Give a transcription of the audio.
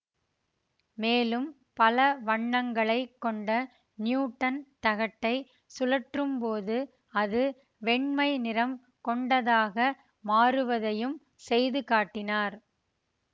மேலும் பல வண்ணங்களைக் கொண்ட நியூடன் தகட்டைச் சுழற்றும்போது அது வெண்மை நிறம் கொண்டதாக மாறுவதையும் செய்து காட்டினார்